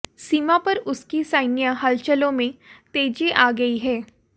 सीमा पर उसकी सैन्य हलचलों में तेजी आ गई है